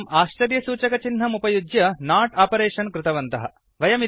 एवं आश्चर्यसूचकचिह्नं उपयुज्य नाट् आपरेषन् कृतवन्तः